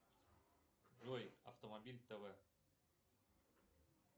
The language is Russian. джой автомобиль тв